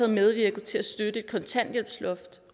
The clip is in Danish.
medvirket til at støtte kontanthjælpsloftet